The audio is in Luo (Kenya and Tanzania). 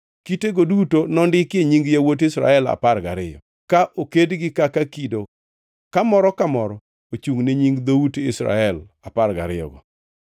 Kitego duto nondikie nying yawuot Israel apar gariyo, ka okedgi kaka kido ka moro ka moro ochungʼ ne nying dhout Israel apar gariyogo.